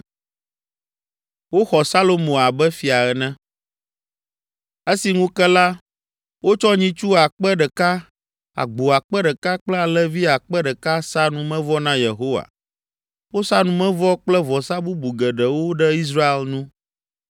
Esi ŋu ke la, wotsɔ nyitsu akpe ɖeka (1,000), agbo akpe ɖeka kple alẽvi akpe ɖeka sa numevɔ na Yehowa. Wosa numevɔ kple vɔsa bubu geɖewo ɖe Israel nu.